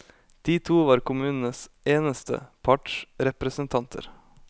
De to var kommunens eneste partsrepresentanter.